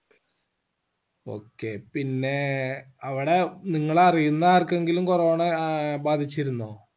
okay പിന്നെ അവിടെ നിങ്ങള് അറിയിന്ന ആർക്കെങ്കിലും corona ആഹ് ബാധിച്ചിരുന്നോ